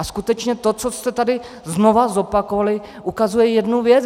A skutečně to, co jste tady znovu zopakovali, ukazuje jednu věc.